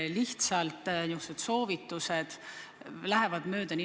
Lihtsalt niisama soovitused lähevad nagu mööda.